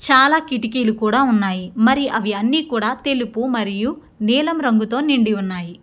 చాలా కిటికీలు కూడా ఉన్నాయి. మరియు అవన్నీ కూడా తెలుపు మరియు నీలం రంగుతో నిండి ఉన్నాయి.